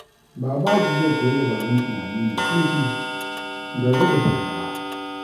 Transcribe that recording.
Babaji zai koyi dabarun tunani mai zurfi don rage fargaba.